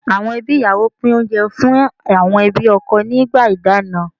Àwọn ẹbí ìyàwó pín oúnjẹ fún àwọn ẹbí ọkọ nígbà ìdáná.